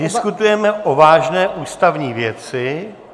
Diskutujeme o vážné ústavní věci.